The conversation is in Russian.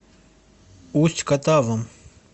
усть катавом